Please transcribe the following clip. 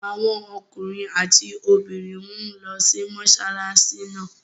Awon ookunrin ati obirin n lo si mosolasi naa